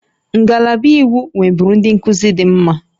Ngalaba iwu nweburu ndị nkuzi dị mma